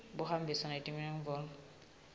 buhambisana netidzingo tesihloko